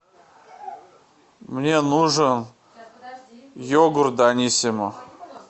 мне нужен йогурт даниссимо